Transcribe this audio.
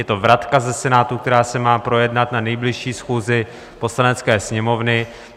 Je to vratka ze Senátu, která se má projednat na nejbližší schůzi Poslanecké sněmovny.